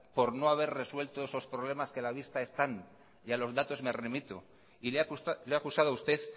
por no haber resuelto esos problemas que a la vista están y a los datos me remito y le he acusado a usted